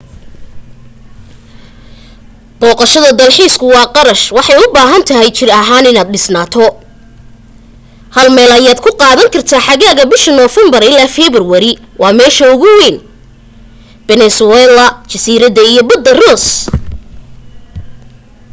boqashada dalxiisku waa qarash waxay u baahan tahay jir ahan inad dhisnaato hal meel ayad ku qaadan kartaa xaagaga bisha novermber ilaa february waa meesha ugu weyn peninsula jasirada iyo bada ross